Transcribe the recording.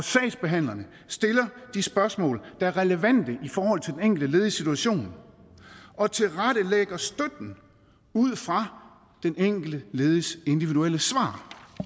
sagsbehandlerne de spørgsmål der er relevante for den enkelte lediges situation og tilrettelægger støtten ud fra den enkelte lediges individuelle svar